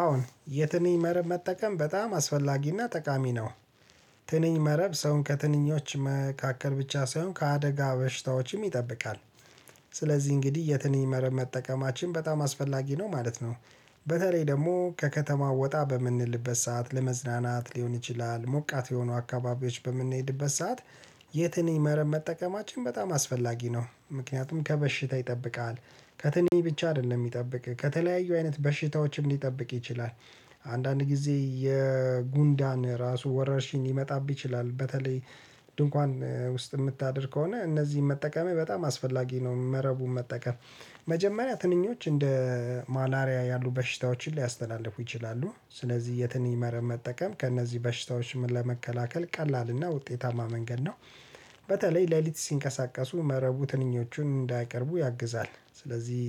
አዎን የትንኝ መረብ መጠቀም በጣም አስፈላጊ እና ጠቃሚ ነው። ትንኝ መረብ ሰውን ከትንኞች መካከል ብቻ ሳይሆን ከአደጋ በሽታዎችም ይጠብቃል። ስለዚህ እንግዲህ የትንኝ መርህ መጠቀማችን በጣም አስፈላጊ ነው ማለት ነው። በተለይ ደግሞ ከከተማ ወጣ በምንልበት ሰዓት ለመዝናናት ሊሆን ይችላል ሞቃት የሆኑ አካባቢዎች በምንሄድበት ሰዓት። የትንኝ መረብ መጠቀማችን በጣም አስፈላጊ ነው ምክንያቱም ከበሽታ ይጠብቃል። ከትንኝ ብቻ አይደለም ሚጠብቅህ ከተለያዩ አይነት በሽታዎችም ሊጠብቅ ይችላል። አንዳንድ ጊዜ የጉንዳን ራሱ ወረርሽኝ ሊመጣብህ ይችላል በተለይ። ድንኳን ውስጥ እምታድር ከሆነ እነዚህን መጠቀምህ በጣም አስፈላጊ ነው መረቡን መጠቀም። መጀመሪያ ትንኞች እንደ ማላሪያ ያሉ በሽታዎችን ሊያስተላልፉ ይችላሉ ስለዚህ የትንኝ መረብ መጠቀም ከእነዚህ በሽታዎች ለመከላከል ቀላል እና ውጤታማ መንገድ ነው። በተለይ ሌሊት ሲንቀሳቀሱ መረቡ ትንኞቹን እንዳይቀርቡ ያግዛል ስለዚህ።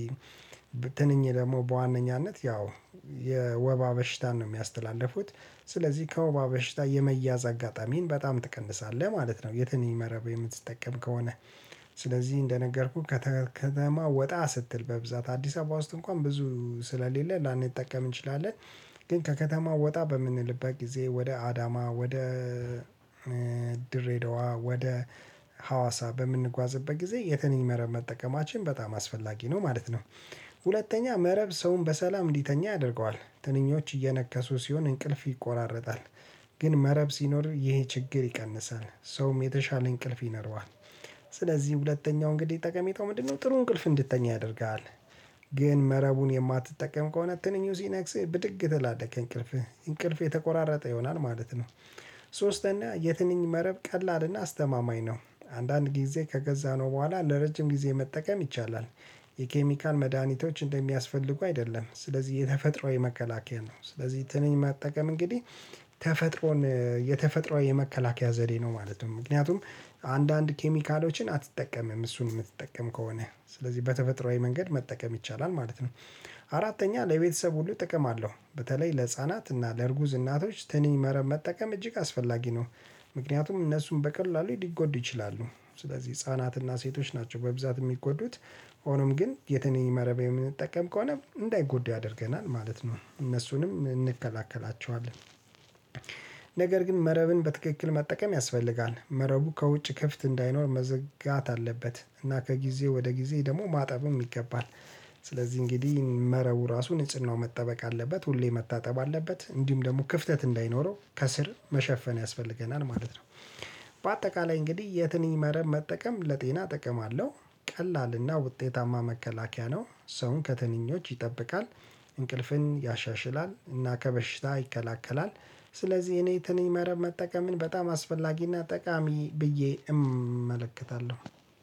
ትንኝ ደግሞ በዋነኛነት ያው የወባ በሽታን ነው ሚያስተላልፉት። ስለዚህ ከወባ በሽታ የመያዝ አጋጣሚን በጣም ትቀንሳለህ ማለት ነው የትንኝ መረብ የምትጠቀም ከሆነ። ስለዚህ እንደነገርኩህ ከተ ከተማ ወጣ ስትል በብዛት አዲስ አበባ ውስጥ እንኳን ብዙ ስለሌለ ላንጠቀም እንችላለን። ግን ከከተማው ወጣ በምንልበት ጊዜ ወደ አዳማ ወደ ድሬዳዋ ወደ ሀዋሳ በምንጓዝበት ጊዜ የትንኝ መረብ መጠቀማችን በጣም አስፈላጊ ነው ማለት ነው። ሁለተኛ መረብ ሰውን በሰላም እንዲተኛ ያደርገዋል ትንኞች እየነከሱ ሲሆን እንቅልፍ ይቆራረጣል። ግን መረብ ሲኖር ይሄ ችግር ይቀንሳል ሰውም የተሻለ እንቅልፍ ይኖረዋል። ስለዚህ ሁለተኛው እንግዲህ ጠቀሜታው ምንድነው? ጥሩ እንቅልፍ እንድትተኛ ያደርግሃል። ግን መረቡን የማትጠቀም ከሆነ ትንኙ ሲነክስህ ብድግ ትላለህ ከእንቅልፍህ እንቅልፍህ የተቆራረጠ ይሆናል ማለት ነው። ሶስተኛ የትንኝ መረብ ቀላል እና አስተማማኝ ነው። አንዳንድ ጊዜ ከገዛነው በኋላ ለረጅም ጊዜ መጠቀም ይቻላል። የኬሚካል መድኃኒቶች እንደሚያስፈልጉ አይደለም ስለዚህ የተፈጥሮ የመከላከያ ነው። ስለዚህ ትንኝ መጠቀም እንግዲህ ተፈጥሮን የተፈጥሮ የመከላከያ ዘዴ ነው ማለት ነው። ምክንያቱም አንዳንድ ኬሚካሎችን አትጠቀምም እሱን ምትጠቀም ከሆነ ስለዚህ በተፈጥሯዊ መንገድ መጠቀም ይቻላል ማለት ነው። አራተኛ ለቤተሰብ ሁሉ ጥቅም አለው በተለይ ለህፃናት እና ለእርጉዝ እናቶች ትንኝ መረብ መጠቀም እጅግ አስፈላጊ ነው። ምክንያቱም እነሱን በቀላሉ ሊጎዱ ይችላሉ ስለዚህ ህፃናት እና ሴቶች ናቸው በብዛት እሚጎዱት። ሆኖም ግን የትንኝ መረብ የምንጠቀም ከሆነ እንዳይጎዱ ያደርገናል ማለት ነው እነሱንም እንከላከላቸዋለን። ነገር ግን መረብን በትክክል መጠቀም ያስፈልጋል መረቡ ከውጭ ክፍት እንዳይኖር መዝጋት አለበት እና ከጊዜ ወደ ጊዜ ደግሞ ማጠብም ይገባል። ስለዚህ እንግዲህ መረቡ ራሱ ንጽህናው መጠበቅ አለበት ሁሌ መታጠብ አለበት እንዲሁም ደግሞ ክፍተት እንዳይኖረው ከስር መሸፈን ያስፈልገናል ማለት ነው። በአጠቃላይ እንግዲህ የትንኝ መረብ መጠቀም ለጤና ጥቅም አለው። ቀላል እና ውጤታማ መከላከያ ነው ሰውን ከትንኞች ይጠብቃል። እንቅልፍን ያሻሽላል እና ከበሽታ ይከላከላል። ስለዚህ እኔ ትንኝ መረብ መጠቀምን በጣም አስፈላጊ እና ጠቃሚ ብዬ እመለከታለሁ